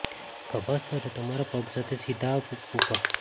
ખભા સ્તરે તમારા પગ સાથે સીધા અપ ઊભા